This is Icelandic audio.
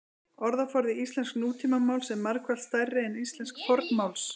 orðaforði íslensks nútímamáls er margfalt stærri en íslensks fornmáls